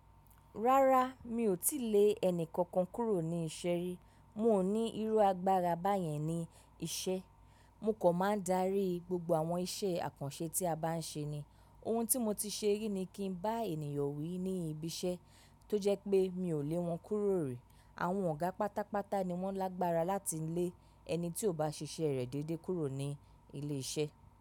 Rárá, mi ò tí lè ẹni kankan kúrò ní iṣẹ́ rí. Mi o ní irú agbára báyẹn ní iṣẹ́. Mo kan máa ń darí gbogbo àwọn iṣẹ́ àkànṣe tí a bá ń ṣe ni. Ohun tí mo ti ṣe rí ni kí n bá ènìyàn wí ní ibi iṣẹ́ tó jẹ́ pé mi ò lè wọn kúrò rí. Àwọn ọ̀gá pátápátá ni wọ́n lágbára láti lé ẹni tí ò bá ṣiṣẹ́ rẹ̀ déedé kúrò ní ilé iṣẹ́.